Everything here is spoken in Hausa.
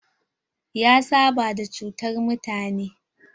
Ya saba da cutar mutane.